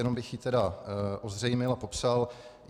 Jenom bych ji tedy ozřejmil a popsal.